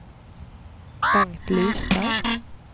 Bengt Lystad